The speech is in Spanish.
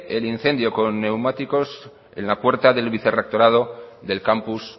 el incendio con neumáticos en la puerta del vicerrectorado del campus